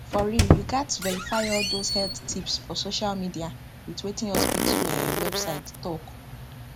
for real you gats verify all those heath tips for social media with wetin hospital um website talk